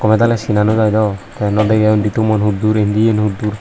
sina no jai do tay no dege undi tumon huddur indiyen huddur.